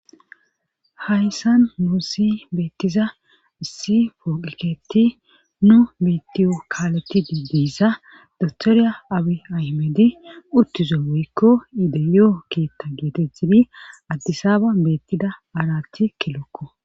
Hayssan nuu si beettiza issi fooqeketi nu mitiyo kaaletidi diissa dotoriya abi ahmedi uttizo woykko iide yoo keetta geetechidi addisaaba beettida aarathi kilokko